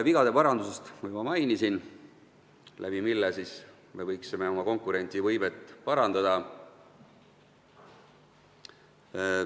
Vigade parandust ma juba mainisin, selle abil me võiksime oma konkurentsivõimet parandada.